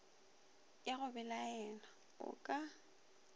ya go belaela o ka